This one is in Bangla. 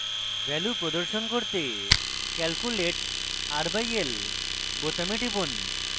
ভ্যালু প্রদর্শন করতে calculate r/l বোতামে টিপুন